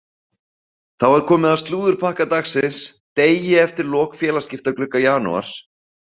Þá er komið að slúðurpakka dagsins degi eftir lok félagsskiptaglugga janúars.